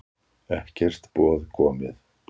Ekkert boð komið